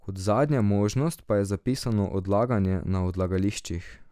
Kot zadnja možnost pa je zapisano odlaganje na odlagališčih.